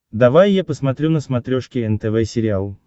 давай я посмотрю на смотрешке нтв сериал